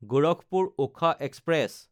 গোৰখপুৰ–ওখা express